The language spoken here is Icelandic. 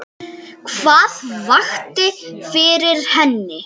Hvað vakti fyrir henni?